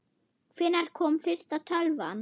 Hvenær kom fyrsta tölvan?